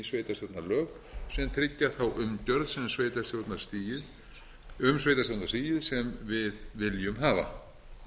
sveitarstjórnarlög sem tryggja þá umgjörð um sveitarstjórnarstigið sem við viljum hafa